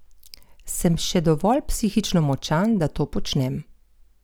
Sem še dovolj psihično močan, da to počnem?